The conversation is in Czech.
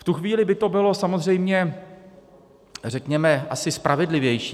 V tu chvíli by to bylo samozřejmě, řekněme, asi spravedlivější.